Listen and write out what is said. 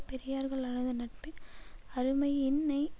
பெரியார்கல்லளது நட் அருமையின்னையறிந்து